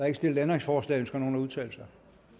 ikke stillet ændringsforslag ønsker nogen at udtale sig